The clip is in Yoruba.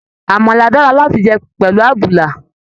Àmàlà dára láti jẹ pẹlú àbùlà.